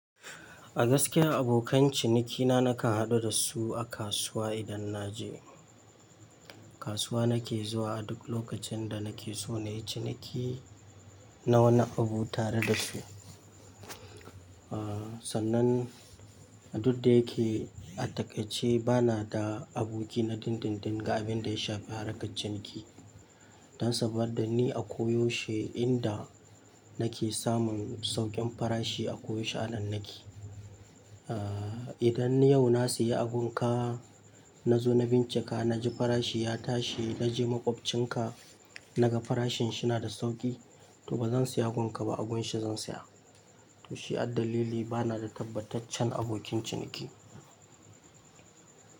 A gaskiya abokan cinikina nake haɗu da su a kasuwa idan naje. Kasuwa nake zuwa a duk lokacin da nake so na yi ciniki na wani abu tare da su. Aaa, sannan duk da yake a takaice bana da aboki na dindindin ga abin da ya shafi harka ciniki. Dan saboda ni a koyaushe inda nake samun saukin farashi a koyaushe a nan nake. Aaa, idan yau na sayi abin ka na zo na bincika na ji farashi ya tashi na je maƙwabcinka na ga farashin shi na da sauki, to ba zan sayi abin ka ba abin shi zan saya. To shi addalili bana da tabbataccen abokin ciniki.